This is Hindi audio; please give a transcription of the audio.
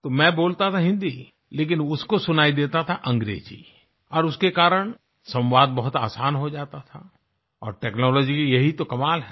तो मैं बोलता था हिंदी लेकिन उसको सुनाई देता था अंग्रेजी और उसके कारण संवाद बहुत आसान हो जाता था और टेक्नोलॉजी का यही तो कमाल है